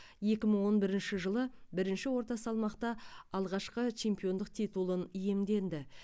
екі мың он бірінші жылы бірінші орта салмақта алғашқы чемпиондық титулын иемденді